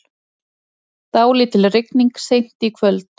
Dálítil rigning seint í kvöld